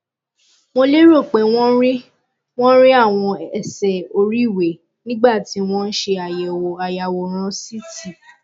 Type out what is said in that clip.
mo lérò pé wón rí wón rí àwọn ẹsẹ oríiwe nígbà tí wọn ń ṣe àyẹwò ayàwòrán ct